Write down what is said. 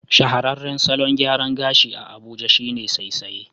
Shahararran salon gyaran gashi a Abuja shine saisaye